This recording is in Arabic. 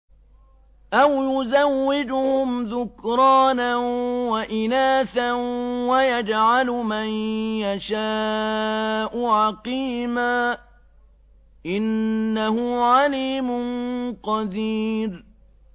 أَوْ يُزَوِّجُهُمْ ذُكْرَانًا وَإِنَاثًا ۖ وَيَجْعَلُ مَن يَشَاءُ عَقِيمًا ۚ إِنَّهُ عَلِيمٌ قَدِيرٌ